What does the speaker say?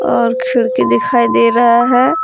और खिड़की दिखाई दे रहा है।